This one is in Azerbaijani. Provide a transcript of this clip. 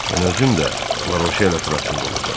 Mən özüm də Laroşel ətrafında olacam.